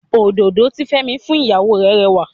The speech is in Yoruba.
Òdòdó tí Fẹ́mi fún ìyàwó rè rẹwà.